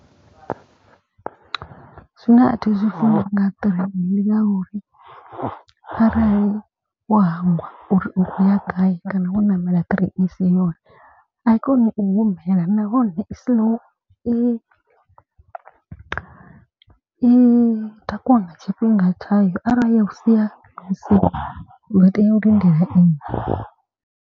Zwine a thi zwifuni nga ṱireini ndi ngauri arali wo hangwa uri u khou ya gai. Kana wo ṋamela ṱireini i si yone a i koni u humela nahone i slow. I i takuwa nga tshifhinga tshayo arali ya u sia yo u sia uḓo tea u lindela iṅwe.